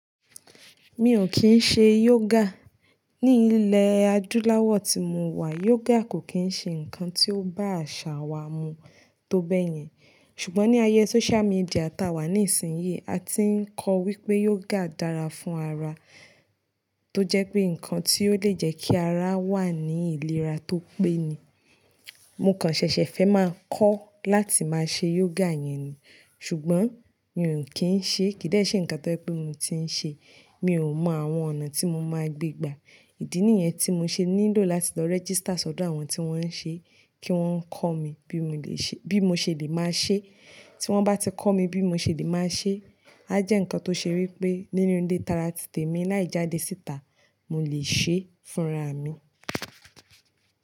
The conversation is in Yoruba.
Mi ò kín ṣe yoga. Ní ilé adúláwọ̀ tí mo wà, yoga kò kín ṣe ǹkan tí ó bá àṣà wa mu tó bẹ́yẹn. Ṣùgbọ́n ní ayé social media tà wà ní ìsìnyí, a ti ń kọ́ wípé yoga dára fún ara. Tó jẹ́ pé ǹkan tí ó le jẹ́ kí ara wà ní ìlera tó pé ni. Mo kàn ṣẹ̀ṣẹ̀ fẹ́ máa kọ́ láti máa ṣe yoga yẹn ni. Ṣùgbọ́n mi ò kín ṣe, kò dẹ́ṣẹ̀ ǹkan tóye pé mo ti ń ṣe. Mi ò mọ àwọn ọ̀nà tí mo máa gbé gbà. Ìdí nìyẹn tí mo ṣe nílò láti lọ register sọ́dọ̀ àwọn tí wọ́n ń ṣe kí wọ́n kọ́ mi bí mo ṣe le máa ṣe. Tí wọ́n bá ti kọ́ mi bí mo ṣe le máa ṣe, a jẹ́ ǹkan tó ṣe wípé nínú ilé tara tìtẹ̀ mi láì jáde síta, mo lè ṣe fún ara mi.